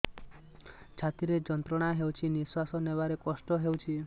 ଛାତି ରେ ଯନ୍ତ୍ରଣା ହେଉଛି ନିଶ୍ଵାସ ନେବାର କଷ୍ଟ ହେଉଛି